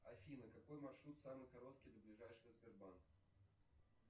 афина какой маршрут самый короткий до ближайшего сбербанка